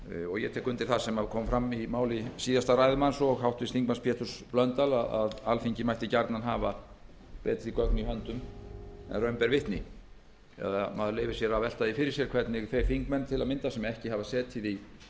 ég tek undir það sem kom fram í máli síðasta ræðumanns og háttvirtur þingmaður péturs blöndals að alþingi mætti gjarnan hafa betri gögn í höndum en raun ber vitni maður leyfir sér að velta því fyrir sér hvernig þeir þingmenn til að mynda sem ekki hafa setið í utanríkismálanefnd